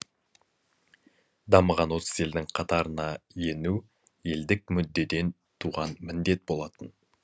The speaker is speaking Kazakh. дамыған отыз елдің қатарына ену елдік мүддеден туған міндет болатын